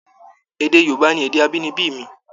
Èdè Yorùbá ni èdè abínibí mi.